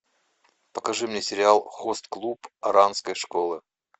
покажи мне сериал хост клуб оранской школы